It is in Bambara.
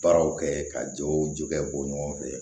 Baaraw kɛ ka jɔw ju kɛ bɔ ɲɔgɔn fɛ